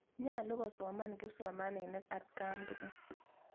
Nyalu kosoman kipsomaninik atkan tukul.